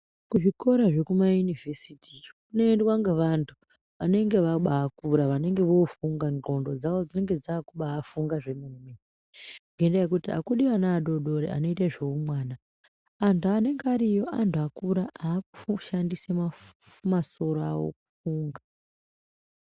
Kuzvikora zvekumayunivhesiti iyo kunoendwa ngevantu vanenge vabaakura, vanenge voofunga, ndxondo dzavo dzinenge dzaakubaafunga ngendaa yekuti akudi ana adoodori anoite zveumwana. Antu anenge ariyo antu akura akushandisa masoro awo kufunga.